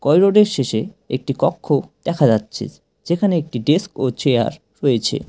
Corridor -এর শেষে একটি কক্ষ দেখা যাচ্ছে যেখানে একটি ডেস্ক ও চেয়ার রয়েছে।